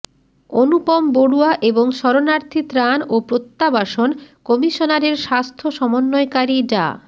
অনুপম বড়ুয়া এবং শরণার্থী ত্রাণ ও প্রত্যাবাসন কমিশনারের স্বাস্থ্য সমন্বয়কারী ডা